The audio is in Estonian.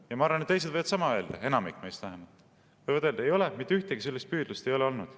Ja ma arvan, et teised võivad sama öelda, enamik meist vähemalt, et mitte ühtegi sellist püüdlust ei ole olnud.